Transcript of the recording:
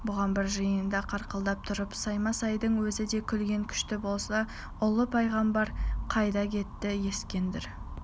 бұған бір жиында қарқылдап тұрып саймасайдың өзі де күлген күшті болса ұлы пайғамбар қайда кетті ескендір